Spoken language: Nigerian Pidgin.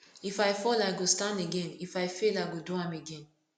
if i fall i go stand again if i fail i go do am again